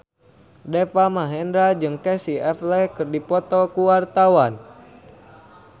Deva Mahendra jeung Casey Affleck keur dipoto ku wartawan